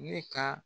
Ne ka